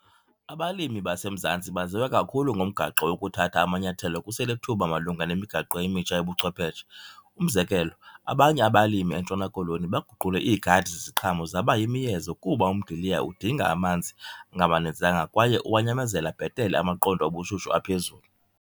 Abalimi baseMzantsi baziwa kakhulu ngomgaqo wokuthatha amanyathelo kuselithuba malunga nemigaqo emitsha yobuchwepheshe. Umzekelo, abanye abalimi eNtshona Koloni baguqule iigadi zeziqhamo zaba yimiyezo kuba umdiliya udinga amanzi angamaninzanga kwaye uwanyamezela bhetele amaqondo obushushu aphezulu.